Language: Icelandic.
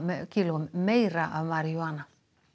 kílóum meira af marijúana